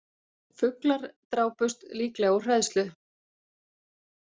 Fuglar drápust líklega úr hræðslu